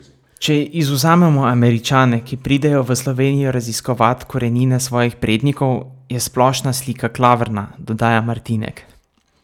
Če izvzamemo Američane, ki pridejo v Slovenijo raziskovat korenine svojih prednikov, je splošna slika klavrna, dodaja Martinek.